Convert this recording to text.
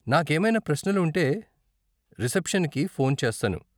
నాకేమైనా ప్రశ్నలు ఉంటే, రిసెప్షన్కి ఫోన్ చేస్తాను.